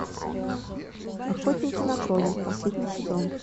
охотники на троллей последний сезон